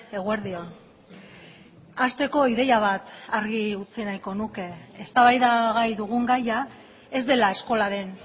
eguerdi on hasteko ideia bat argi utzi nahiko nuke eztabaidagai dugun gaia ez dela eskolaren